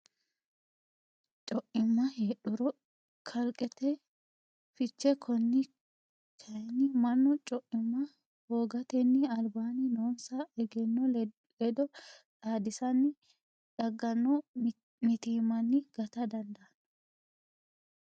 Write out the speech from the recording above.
Co imma heedhuro qaallate fiche konni kayinni mannu co imma hoogatenni albaanni noonsa egenno ledo xaadissanni dagganno mitiimmanni gata dandaanno.